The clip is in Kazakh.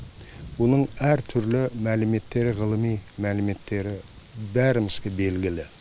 бұның әртүрлі мәліметтері ғылыми мәліметтері бәрімізге белгілі